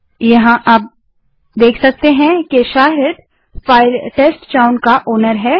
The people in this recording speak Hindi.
यहाँ हम फाइल के मालिकओनर को देख सकते हैं शाहिद टेस्टचाउन का मालिकओनर है